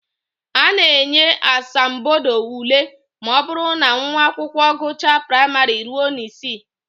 A na-enye asambodo ule ma ọ bụrụ na nwa akwụkwọ gụchaa praịmarị ruo n'isi